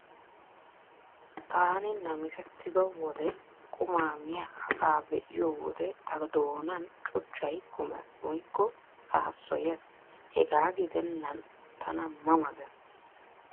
Taani namisettido wode qumaa miyaa asaa be'iyo wode ta doonan cuchchay kumees woykko saassoyees. Hegaa gedennan tana ma ma gees.